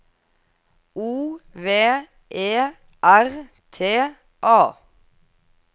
O V E R T A